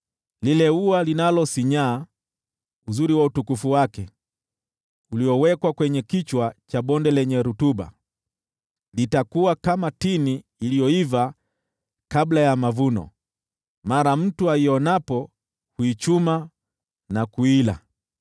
Lile ua linalosinyaa, uzuri wa utukufu wake, uliowekwa kwenye kichwa cha bonde lenye rutuba, litakuwa kama tini iliyoiva kabla ya mavuno: mara mtu aionapo, huichuma na kuila.